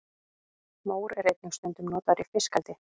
mór er einnig stundum notaður í fiskeldi